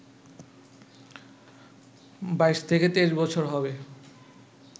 ২২-২৩ বছর হবে